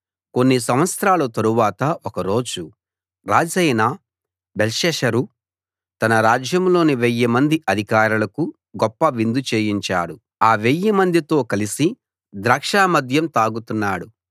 కొన్ని సంవత్సరాలు తరువాత ఒక రోజు రాజైన బెల్షస్సరు తన రాజ్యంలోని వెయ్యి మంది అధికారులకు గొప్ప విందు చేయించాడు ఆ వెయ్యి మందితో కలిసి ద్రాక్షమద్యం తాగుతున్నాడు